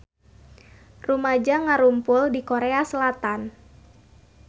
Rumaja ngarumpul di Korea Selatan